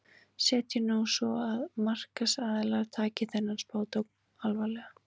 Setjum nú sem svo að markaðsaðilar taki þennan spádóm alvarlega.